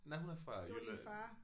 Nej hun er fra Jylland